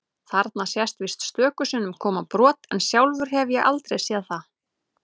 Þarna sést víst stöku sinnum koma brot en sjálfur hef ég aldrei séð það.